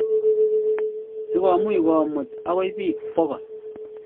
sigomuch komuut agoi pig bokol